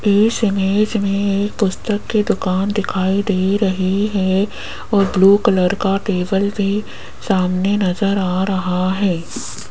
इस इमेज में एक पुस्तक की दुकान दिखाई दे रही है और ब्लू कलर का टेबल भी सामने नजर आ रहा है।